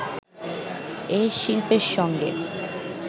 এ শিল্পের সঙ্গে